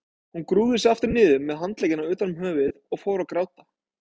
Hún grúfði sig aftur niður með handleggina utan um höfuðið og fór að gráta.